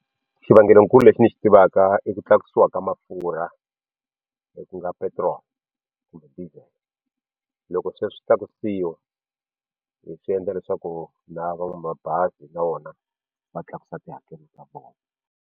Xivangelonkulu lexi ni xi tivaka i ku tlakusiwa ka mafurha hi ku nga petiroli kumbe diesel loko sweswi swi tlakusiwa swi endla leswaku na van'wamabazi na vona va tlakusa tihakelo ta vona.